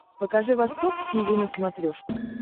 покажи восток тиви на смотрешке